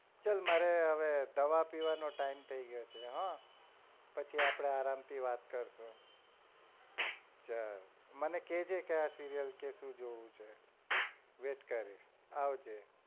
ચલ મારે હવે દવા પીવાનો time થઇ ગયો છે હ પછી આપડે આરામ થી વાત કરીશું ચલ મને કેજે કે આ serial શુ જોવું છે wait કરીશ આવજે